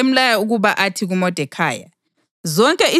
Yena wasemlaya ukuba athi kuModekhayi,